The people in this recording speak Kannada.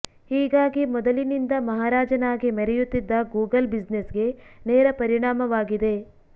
ಹೀಗಾಗಿ ಮೊದಲಿನಿಂದ ಮಹಾರಾಜನಾಗಿ ಮೆರೆಯುತ್ತಿದ್ದ ಗೂಗಲ್ ಬಿಸಿನೆಸ್ ಗೆ ನೇರ ಪರಿಣಾಮವಾಗಿದೆ